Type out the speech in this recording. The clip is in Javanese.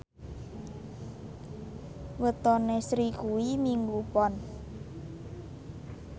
wetone Sri kuwi Minggu Pon